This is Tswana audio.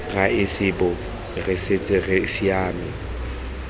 raesebo re setse re siame